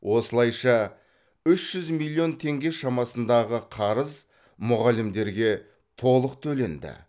осылайша үш жүз миллион теңге шамасындағы қарыз мұғалімдерге толық төленді